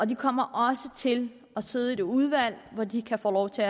de kommer også til at sidde i et udvalg hvor de kan få lov til